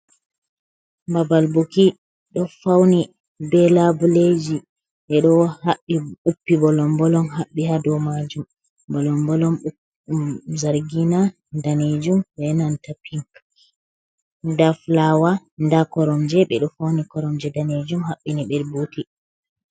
Babal buki ɗo fauni be labileji, ɓeɗo haɓɓi uppi bolom bolom haɓɓi hadow majum, bolom bolon zargina, danejum, benanta pink, nda fulawa, nda koromje, ɓeɗo fauni koromje danejum haɓɓini ɓe buti.